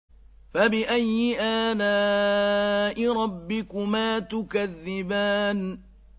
فَبِأَيِّ آلَاءِ رَبِّكُمَا تُكَذِّبَانِ